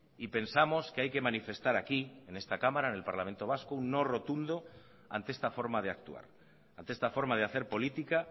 y pensamos que hay que manifestar aquí en esta cámara en el parlamento vasco un no rotundo ante esta forma de actuar ante esta forma de hacer política